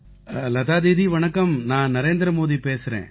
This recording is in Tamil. லதா தீதி வணக்கம் நான் நரேந்திர மோதி பேசுகிறேன்